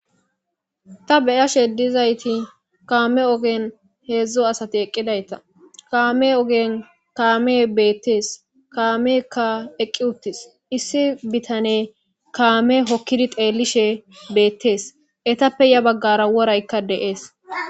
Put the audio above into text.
Ta be'ashe dizayt kame ogen 3 asat eqidayta ha kame ogen kamey betes, Ha kameyka eqid utis issi bitaney kame hokid xelishe betes etappe ya bagara worayka de'es.